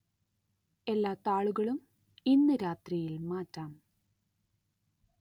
എല്ലാ താളുകളും ഇന്നു രാത്രിയില്‍ മാറ്റാം